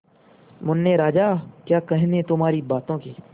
मुन्ने राजा क्या कहने तुम्हारी बातों के